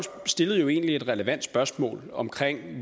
stillede jo egentlig et relevant spørgsmål om